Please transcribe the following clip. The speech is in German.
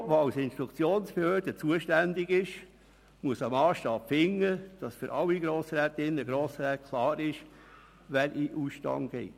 Das Büro, das als Instruktionsbehörde zuständig ist, muss einen Massstab finden, damit für alle Grossrätinnen und Grossräte klar ist, wer in den Ausstand tritt.